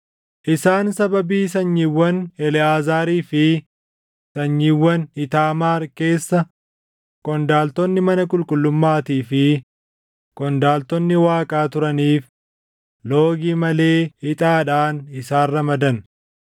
Isaan sababii sanyiiwwan Eleʼaazaarii fi sanyiiwwan Iitaamaar keessa qondaaltonni mana qulqullummaatii fi qondaaltonni Waaqaa turaniif loogii malee ixaadhaan isaan ramadan.